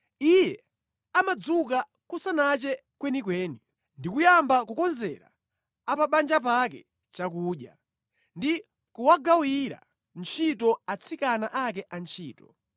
Iye amadzuka kusanache kwenikweni; ndi kuyamba kukonzera a pa banja pake chakudya ndi kuwagawira ntchito atsikana ake antchito.